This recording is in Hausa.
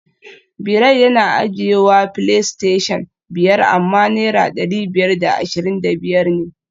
Bilal yana ajiyewa playstation biyar amma naira dari biyar da ashirin da biyar ne